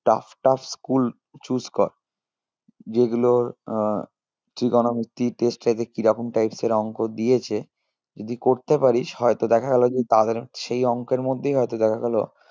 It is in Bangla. Tough tough school choose কর যেগুলোর আহ trigonometry ইর কিরকম types এর অঙ্ক দিয়েছে যদি করতে পারিস হয়তো দেখা গেলো যে তাদের সেই অঙ্কের মধ্যেই হয়তো দেখা গেলো